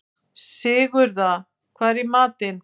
Sigurða, hvað er í matinn?